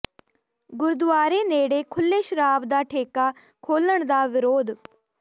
ਗੁਰਦੁਆਰੇ ਨੇੜੇ ਖੁੱਲ੍ਹੇ ਸ਼ਰਾਬ ਦਾ ਠੇਕਾ ਖੋਲ੍ਹਣ ਦਾ ਵਿਰੋਧ